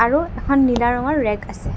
আৰু এখন নীলা ৰঙৰ ৰেক্ আছে।